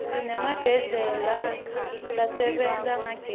sinemagdlela kasebenta ngagezi